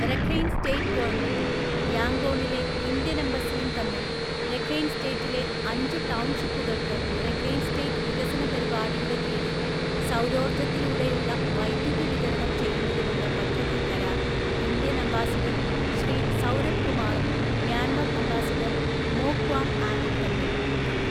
Rakhine State ഗവണ്മെന്റും യാംഗോണിലെ Indian‍ എംബസിയും തമ്മില്‍ രഖൈന്സ്റ്റേറ്റിലെ അഞ്ചു ടൗൺഷിപ്പുകള്‍ക്ക് Rakhine State വികസന പരിപാടിയുടെ കീഴില്‍ സൗരോർജ്ജത്തിലൂടെയുള്ള വൈദ്യുതിവിതരണംചെയ്യുന്നതിനുള്ള പദ്ധതി കരാര്‍ ഇന്ത്യന്‍ അംബാസിഡര്‍ ശ്രീസൗരഭ് കുമാറും മ്യാന്മര്‍ അംബാസിഡര്‍ മോ ക്വാങ്ആങുംതമ്മില്‍ ഒപ്പിട്ടു